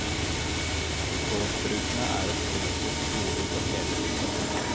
Gårdsbrukene er et kollektivt gode for hele bygda.